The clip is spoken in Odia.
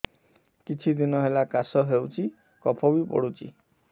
କିଛି ଦିନହେଲା କାଶ ହେଉଛି କଫ ବି ପଡୁଛି